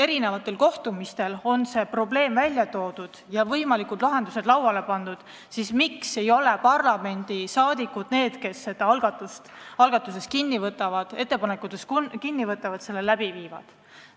Kui mitmel kohtumisel on see probleem välja toodud ja võimalikud lahendused lauale pandud, siis miks ikkagi ei võta parlamendiliikmed algatustest ja ettepanekutest kinni ega hakka neid ellu viima?